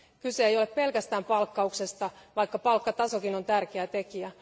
Kyse ei ole pelkästään palkkauksesta, vaikka palkkatasokin on tärkeä tekijä.